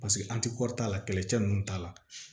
Paseke an ti kɔri t'a la kɛlɛcɛ ninnu t'a la